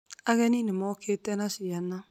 Ageni nĩ mookĩte na ciana